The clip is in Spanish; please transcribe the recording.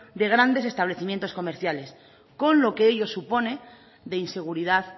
de grandes establecimientos comerciales con lo que ello supone de inseguridad